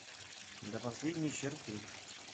до последней черты